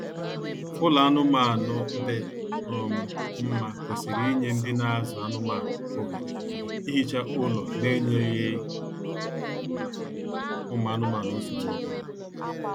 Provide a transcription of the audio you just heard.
Ụlọ anụmaanụ dị um mma kwesịrị inye ndị na azụ anụmaanụ ohere ihicha ụlọ n'enyeghị ụmụ anụmanụ nsogbu ọbụla